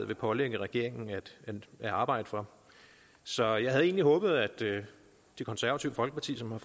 vil pålægge regeringen at arbejde for så jeg havde egentlig håbet at det konservative folkeparti som